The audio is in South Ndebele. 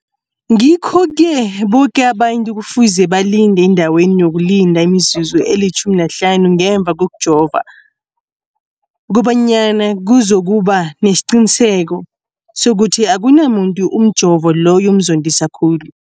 Ngikho-ke boke abantu kufuze balinde endaweni yokulinda imizuzu eli-15 ngemva kokujova, koba nyana kuzokuba nesiqiniseko sokuthi akunamuntu umjovo loyo omzondisa khulu.